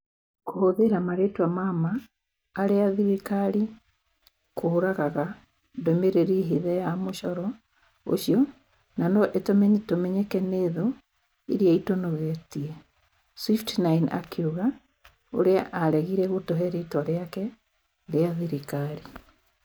Kũhũthĩra marĩĩtwa ma ma arĩa thirikari kũragaga ndũmĩrĩri hithe ya mũcoro ũcio na no ĩtũme tũmenyeke nĩ thũ iria itũnogetie. Swift9 akiuga, ũrĩa aregire gũtũhe rĩtwa rĩake rĩa thirikari.